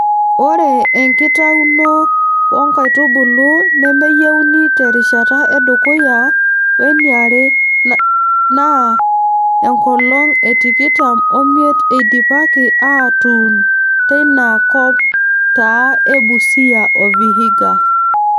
Ore enkitauno oo nkaitubulu nemeyieuni terishata edukuya we niare naa enkolong e tikitam o miet eidipaki aatuun teina kokop taa e Busia o Vihiga.